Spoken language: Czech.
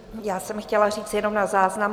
Já jsem chtěla říct jenom na záznam.